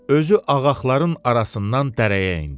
Özü ağaxların arasından dərəyə endi.